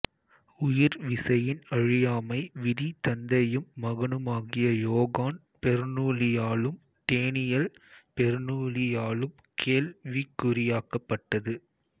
உயிர் விசையின் அழியாமை விதி தந்தையும் மகனுமாகிய யோகான் பெர்னூலியாலும் டேனியல் பெர்னூலியாலும் கேள்விக்குறியாக்கப்பட்டது